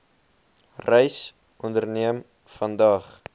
reis onderneem vandag